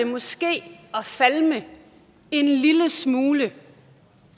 måske at falme en lille smule